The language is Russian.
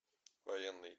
военный